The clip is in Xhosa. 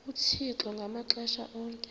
uthixo ngamaxesha onke